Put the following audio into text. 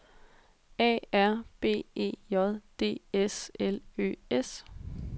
A R B E J D S L Ø S